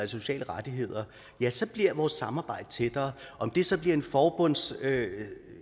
sociale rettigheder ja så bliver vores samarbejde tættere om det så bliver en forbundsstat